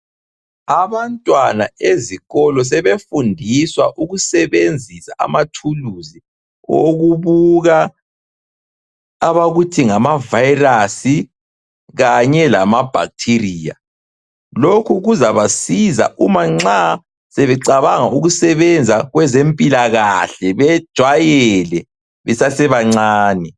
Abantwana ezikolo sebefundiswa ukusebenzisa amathuluzi owokubuka abakuthi ngamavirus kanye lama bacteria. Lokhu kuzabasiza umanxa sebecabanga ukusebenza kwezempilakahle bejwayele besasebancane.